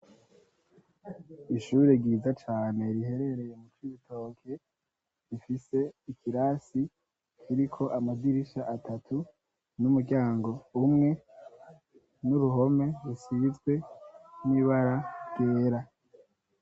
Ishure ryiza cane riherereye mu Cibitoke, rifise ikirasi kiriko amadirisha atatu n'umuryango umwe n'uruhome rusizwe ibara ryera.